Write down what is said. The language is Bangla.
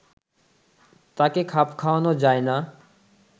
তাকে খাপ খাওয়ানো যায় না